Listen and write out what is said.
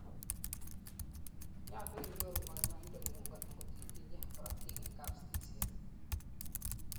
nyalu inyoru kanyoindetng'ng angot itinyei korotik en kapsigisiet